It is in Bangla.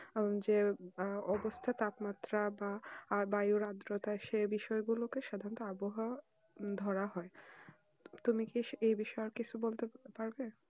আহ যে অবস্থা তাপমাত্রা বা বায়ু আদ্রতা সেই বিষয় গুলোকে সাধনত আবহাওয়া ধরা হয় তুমি কি এই বিষয়ে সম্পর্কে কিছু বলতে পারবে